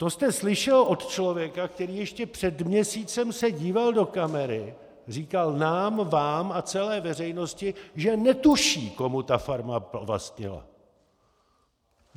To jste slyšel od člověka, který ještě před měsícem se díval do kamery, říkal nám, vám a celé veřejnosti, že netuší, komu ta farma patřila.